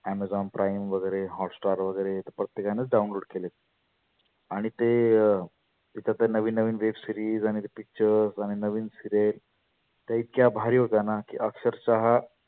Amazon prime वगैरे, hotstar वगैरे प्रत्येकानंच download केले. आणि ते तिथं तर नविन नविन web series आणि ते pictures आणि ते नविन serial त्या इतक्या भारी होत्याना की अक्षरषः